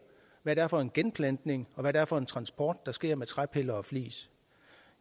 hvad det er for en genplantning og hvad det er for en transport der sker med træpiller og flis